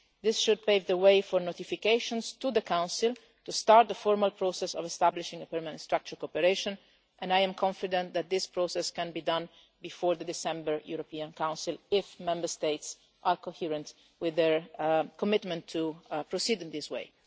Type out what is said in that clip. This should pave the way for notifications to the Council to start the formal process of establishing a permanent structure cooperation and I am confident that this process can be done before the December European Council if Member States are coherent with their commitment to proceed in this